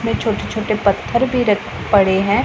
में छोटे छोटे पत्थर रख पड़े हैं।